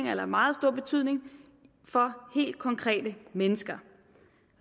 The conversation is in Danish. har meget stor betydning for helt konkrete mennesker